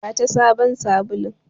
Bata sabon sabulun!